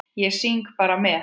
Ég syng bara með.